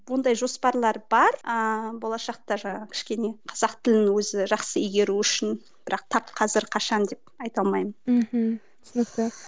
ондай жоспарлар бар ыыы болашақта жаңағы кішкене қазақ тілін өзі жақсы игеру үшін бірақ тап қазір қашан деп айта алмаймын мхм түсінікті